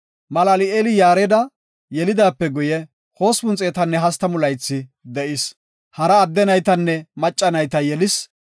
Malal7eeli Yaareda yelidaape guye, 830 laythi de7is. Hara adde naytanne macca nayta yelis.